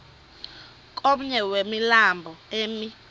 komnye wemilambo emi